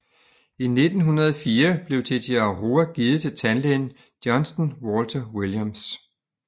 I 1904 blev Tetiaroa givet til tandlægen Johnston Walter Williams